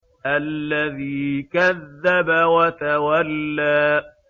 الَّذِي كَذَّبَ وَتَوَلَّىٰ